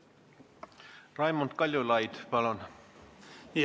Raimond Kaljulaid, palun!